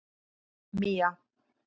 Mía